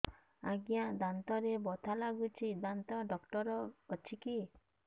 ଆଜ୍ଞା ଦାନ୍ତରେ ବଥା ଲାଗୁଚି ଦାନ୍ତ ଡାକ୍ତର ଅଛି କି